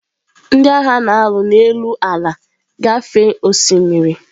Ndị agha na-alụ n'elu ala gafee osimiri.